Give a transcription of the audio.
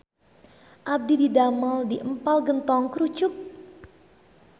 Abdi didamel di Empal Gentong Krucuk